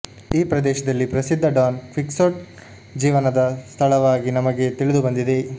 ಈ ಪ್ರದೇಶದಲ್ಲಿ ಪ್ರಸಿದ್ಧ ಡಾನ್ ಕ್ವಿಕ್ಸೋಟ್ ಜೀವನದ ಸ್ಥಳವಾಗಿ ನಮಗೆ ತಿಳಿದುಬಂದಿದೆ